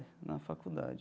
Na faculdade.